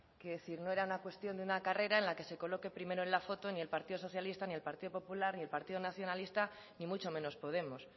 que si no era una cuestión de una carrera en la que se coloque primero en la foto ni el partido socialista ni el partido popular ni el partido nacionalista ni mucho menos podemos